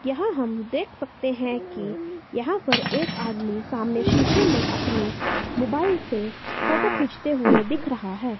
यहां हम देख सकते हैं कि यहां पर एक आदमी सामने शीशे में अपने मोबाइल से फोटो खींचते हुए दिख रहा है।